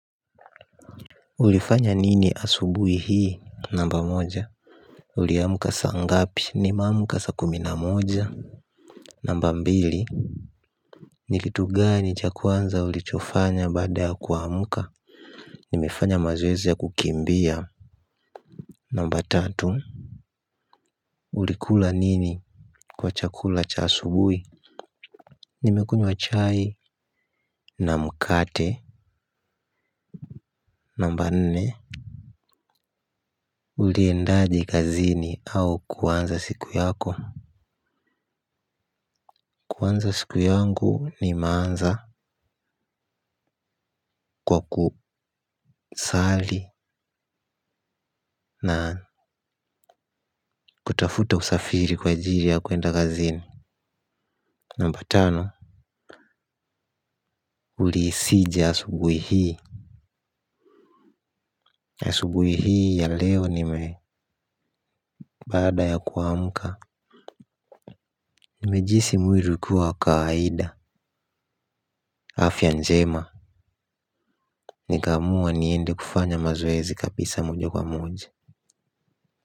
Ulifanya nini asubuhi hii namba moja. Uliamka saa ngapi nimeamka saa kumi na moja. Namba mbili. Ni kitu gani cha kwanza ulichofanya baada ya kuamka. Nimefanya mazoezi ya kukimbia. Namba tatu. Ulikula nini. Kwa cha kula cha asubuhi. Nimekunywa chai na mkate. Namba nne Uliendaje kazini au kuanza siku yako kuanza siku yangu nimeanza kwa kusali na kutafuta usafiri kwa ajili ya kuenda kazini. Namba tano, ulihisije asubuhi hii. Asubuhi hii ya leo nime baada ya kuamka nimejihisi mwili hukua wa kawaida. Afya njema. Nikamua niende kufanya mazoezi kabisa moja kwa moja.